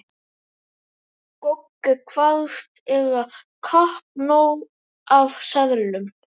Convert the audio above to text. Goggi kvaðst eiga kappnóg af seðlum.